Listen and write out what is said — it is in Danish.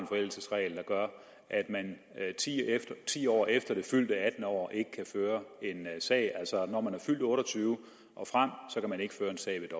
forældelsesregel der gør at man ti år efter det fyldte attende år ikke kan føre en sag altså når man er fyldt otte og tyve år og frem kan man ikke føre en sag